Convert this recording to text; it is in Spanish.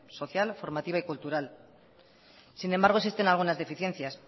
social formativa y cultural sin embargo existen algunas deficiencias